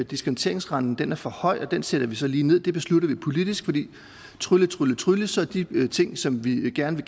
diskonteringsrenten er for høj og den sætter vi så lige ned og det beslutter vi politisk fordi trylle trylle trylle så er de ting som vi gerne